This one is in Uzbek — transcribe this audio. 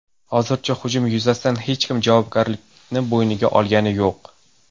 Hozircha hujum yuzasidan hech kim javobgarlikni bo‘yniga olgani yo‘q.